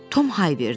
Tom hay verdi.